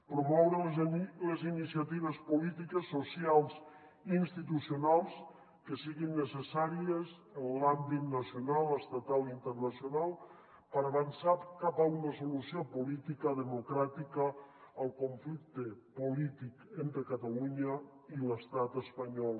promoure les iniciatives polítiques socials i institucionals que siguin necessàries en l’àmbit nacional estatal i internacional per avançar cap a una solució política democràtica al conflicte polític entre catalunya i l’estat espanyol